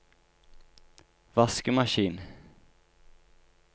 vaskemaskin